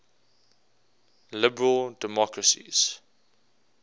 liberal democracies